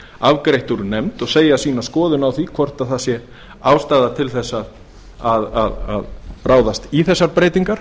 afgreitt úr nefnd og segja sína skoðun á því hvort það sé ástæða til að ráðast í þessar breytingar